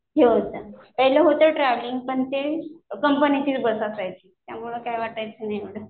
हे होतं पहिलं होतं ट्रॅव्हलिंग पण ते कंपनीचीच बस असायची त्यामुळे काय वाटायचं नाही मला.